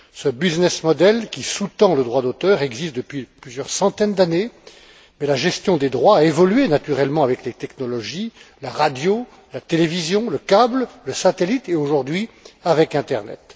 Ce modèle économique qui sous tend le droit d'auteur existe depuis plusieurs centaines d'années, mais la gestion des droits a évolué naturellement avec les technologies, la radio, la télévision, le câble, le satellite, et aujourd'hui, avec l'internet.